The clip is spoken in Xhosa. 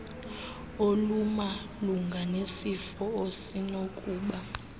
olumalunga nesifo osenokuba